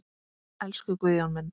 Elsku Guðjón minn.